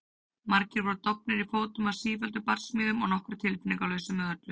Margir voru dofnir í fótum af sífelldum barsmíðum og nokkrir tilfinningalausir með öllu.